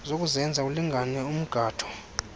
zokuzenza zilingane umgatho